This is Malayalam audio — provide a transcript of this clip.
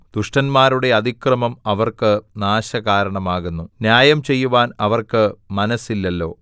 ദുഷ്ടന്മാരുടെ അതിക്രമം അവർക്ക് നാശകാരണമാകുന്നു ന്യായം ചെയ്യുവാൻ അവർക്ക് മനസ്സില്ലല്ലോ